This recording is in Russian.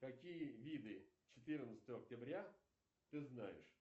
какие виды четырнадцатого октября ты знаешь